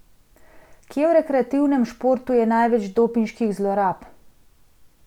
Kje v rekreativnem športu je največ dopinških zlorab?